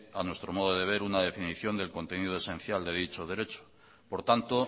a nuestro modo de ver una definición del contenido esencial de dicho derecho por tanto